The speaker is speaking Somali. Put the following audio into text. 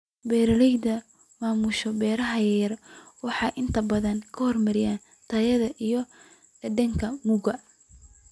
Beeralayda maamusha beeraha yaryar waxay inta badan ka hormariyaan tayada iyo dhadhanka mugga.